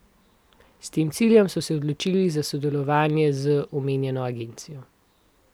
S tem ciljem so se odločil za sodelovanje z omenjeno agencijo.